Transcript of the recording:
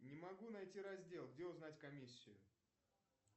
не могу найти раздел где узнать комиссию